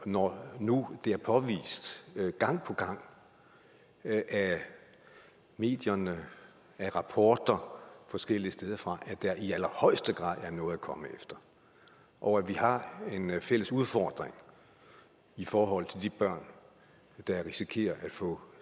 når nu det er påvist gang på gang af medierne i rapporter forskellige steder fra at der i allerhøjeste grad er noget at komme efter og at vi har en fælles udfordring i forhold til de børn der risikerer at få